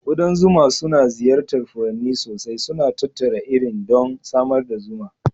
Ƙudan zuma suna ziyartar furanni sosai, suna tattara irin don samar da zuma.